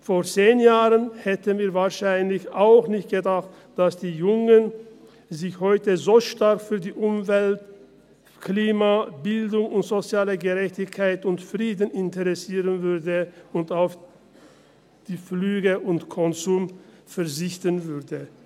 Vor zehn Jahren hätten wir wahrscheinlich auch nicht gedacht, dass die Jugend sich heute so stark für Umwelt, Klima, Bildung, soziale Gerechtigkeit und Frieden interessieren würde und auf Flüge und Konsum verzichten würde.